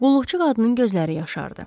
Qulluqçu qadının gözləri yaşardı.